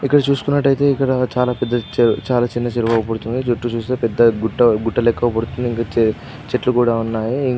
ఇక్కడ చుస్కున్నట్టయితే ఇక్కడా చాలా పెద్ద చే-చాల చిన్న చెరువు అగుపడుతుంది. చుట్టు చూస్తె పెద్ద గుట్ట గుట్టలెక్క అగుపడుతుంది.ఇంకా చె-చెట్లు కూడ ఉన్నాయి.